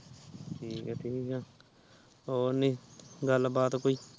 ਠੀਕ ਆ ਠੀਕ ਆ ਹੋਰ ਨੀ ਗੱਲ ਬਾਤ ਕੋਈ